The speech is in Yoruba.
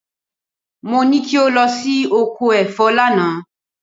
Mo ní kí o lọ sí oko ẹ̀fọ́ lánàá.